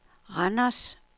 Randers